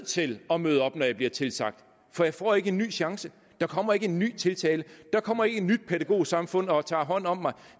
til at møde op når jeg bliver tilsagt for jeg får ikke en ny chance der kommer ikke en ny tiltale der kommer ikke et nyt pædagogsamfund og tager hånd om mig